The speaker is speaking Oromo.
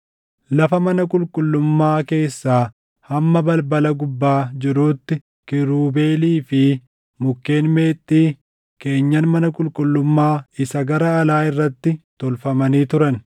Lafa mana qulqullummaa keessaa hamma balbala gubbaa jiruutti kiirubeelii fi mukkeen meexxii keenyan mana qulqullummaa isa gara alaa irratti tolfamanii turan.